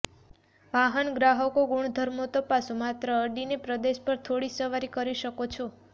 વાહન ગ્રાહક ગુણધર્મો તપાસો માત્ર અડીને પ્રદેશ પર થોડી સવારી કરી શકો છો